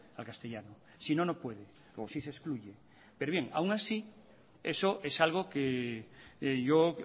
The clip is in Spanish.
al castellano si no no puede o sí se excluye pero bien y aún así eso es algo que yo